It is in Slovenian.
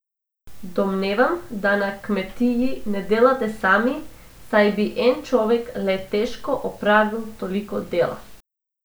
Domnevam, da na kmetiji ne delate sami, saj bi en človek le težko opravil toliko dela.